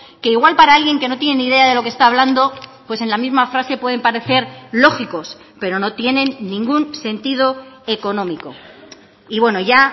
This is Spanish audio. que igual para alguien que no tiene ni idea de lo que está hablando pues en la misma frase pueden parecer lógicos pero no tienen ningún sentido económico y bueno ya